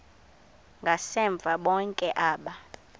ngasemva bonke aba